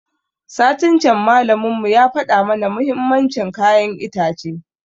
Satin can malamin mu ya faɗa mana muhimmancin kayan itace